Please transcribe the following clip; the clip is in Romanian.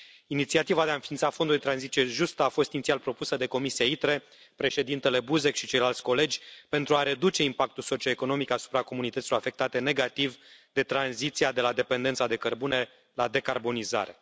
Inițiativa de a înființa Fondul de tranziție justă a fost inițial propusă de comisia ITRE, Președintele Buzek și ceilalți colegi, pentru a reduce impactul socioeconomic asupra comunităților afectate negativ de tranziția de la dependența de cărbune la decarbonizare.